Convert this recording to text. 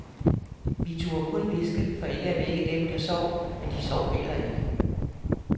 Vi turde kun hviske, for ikke at vække dem, der sov, men de sov heller ikke.